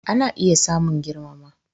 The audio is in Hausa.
Ana iya samun girmama